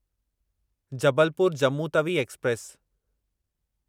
Jabalpur Jammu Tawi express